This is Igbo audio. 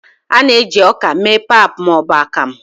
a na-eji ọka mee pap ma ọ bụ akamu